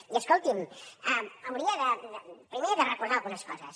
i escolti’m hauria primer de recordar algunes coses